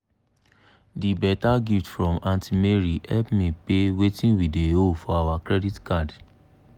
de better gift from aunty mary help pay wetin we dey owe for our credit card.